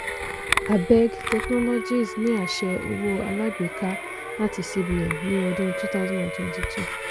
abeg technologies ní aṣẹ owó alágbèká láti cbn ní ọdún two thousand and twenty two.